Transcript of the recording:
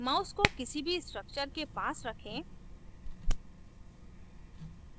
mouse को किसी भी structures के पास रखें